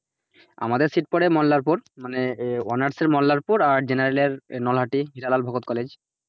আমাদের sit পরে মল্লারপুর মানে honours এর মল্লারপুর general এর নলহাটি হীরালাল ভগত college ।